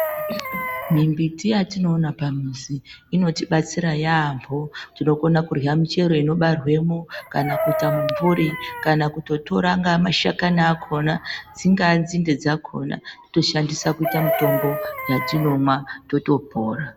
Mi mbiti yatinoona pa mizi inoti batsira yamho tino kona kurya michero ino barwemo kana kuita mu mvuri kana kuto tora ma hlakani akona dzingava dzinde dzakona toto shandisa kuita mitombo yatinonwa toto pora.